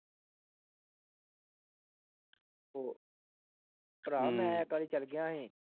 ਉਹ ਭਰਾ ਮੈਂ ਇੱਕ ਵਾਰੀ ਚਲ ਗਿਆ ਸੀ।